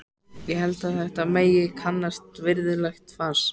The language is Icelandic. Ég held að þetta megi kallast virðulegt fas.